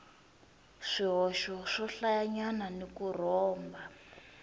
swihoxo swohlayanyana ni ku rhomba